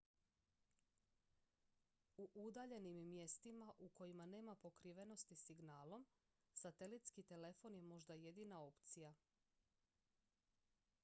u udaljenim mjestima u kojima nema pokrivenosti signalom satelitski telefon je možda jedina opcija